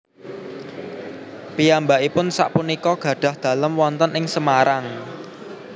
Piyambakipun sak punika gadhah dalem wonten ing Semarang